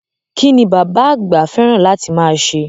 Kín ni bàbá àgbà fẹ́ràn láti máa ṣe?